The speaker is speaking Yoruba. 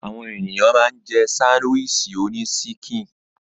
Àwọn ènìyàn ma ń jẹ́ sándíwìsì oní síkìn.